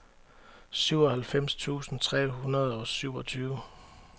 syvoghalvfems tusind fire hundrede og syvogtyve